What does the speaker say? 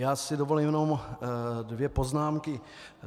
Já si dovolím jenom dvě poznámky.